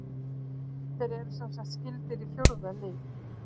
Þeir eru semsagt skyldir í fjórða lið.